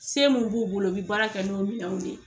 Se mun b'u bolo u bɛ baara kɛ n'u minanw de ye.